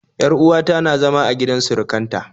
Yar uwa ta na zama a gidan surukan ta